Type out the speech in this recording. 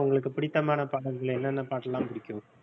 உங்களுக்குப் பிடித்தமான பாடல்கள் என்னென்ன பாட்டெல்லாம் பிடிக்கும்